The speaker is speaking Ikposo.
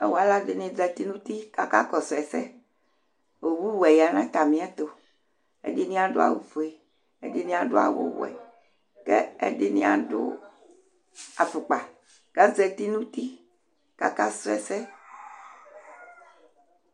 Ɔ alu ɛɖɩnɩ zatɩ nutɩ kaka kɔsu ɛsɛ Owu wɛ ya natami ɛtu Ɛɖɩnɩ aɖu awu foe, ɛɖɩnɩ aɖu awu wɛ Kɛ ɛɖɩnɩ aɖu afukpa kazatinu uti kaka su ɛsɛ